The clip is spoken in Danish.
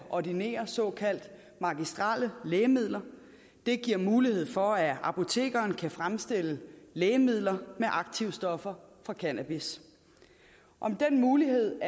ordinere såkaldte magistrelle lægemidler det giver mulighed for at apotekeren kan fremstille lægemidler med aktivstoffer fra cannabis om den mulighed